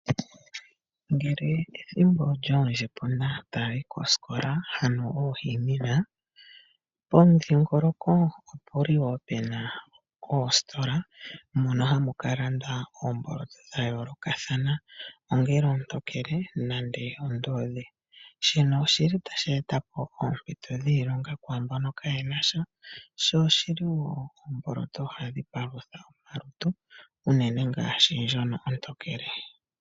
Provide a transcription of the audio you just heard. Ngele ethimbo lyoondjima taayi kosikola, ano oohemina, pomudhiingoloko opu li wo pu na oositola mono hamu ka landwa oomboloto dha yoolokathana. Ongele ontokele nande oonduudhe. Shino oshili tashi eta po oompito dhiilonga kwaa mbono kaaye na sha. Sho oshili wo oomboloto hadhi palutha omalutu unene ngaashi ndjono ontokele.